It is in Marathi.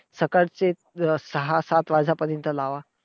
सकाळचे अं सहा सात वाजेपर्यंत लावा.